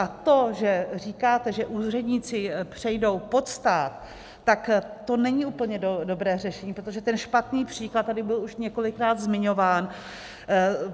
A to, že říkáte, že úředníci přejdou pod stát, tak to není úplně dobré řešení, protože ten špatný příklad tady byl už několikrát zmiňován.